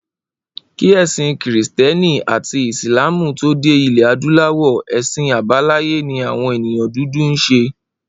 Kí è̩sìn Krìsté̩nì àti Ìsláàmù tó dé ilè̩ adúláwò̩, è̩sìn àbáláyé ni àwo̩n èèyàn dúdú ń s̩e